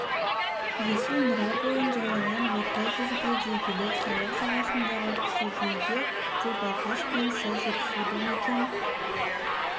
есіл нұра бойын жайлаған орта жүзге де елек жайық жағасындағы кіші жүзге де балқаш пен сыр жетісуды мекен